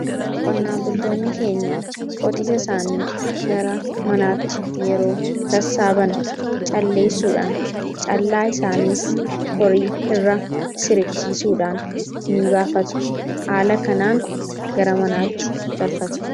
qonnaan bultoonni keenya qotisa isaanii gara manaatti yeroo sassaaban calleessuudhaan callaa isaaniis horii irra siribsiisuudhaan ni baafatu haala kanaan gara manaatti galfatu.